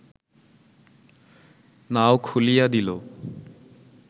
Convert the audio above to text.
নাও খুলিয়া দিল